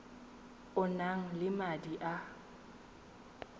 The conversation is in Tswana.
o nang le madi a